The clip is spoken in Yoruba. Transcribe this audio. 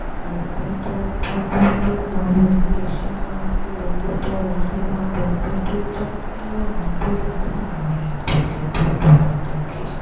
ẹgbẹ́ tó ń bójú tó òwò ilé iṣẹ́ máa pín owó tó ń wọlé lọ́dọọdún tó jẹ́ mílíọ̀nù dọ́là láàárín ìgbòkègbodò pàtàkì